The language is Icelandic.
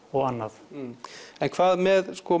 og annað en hvað með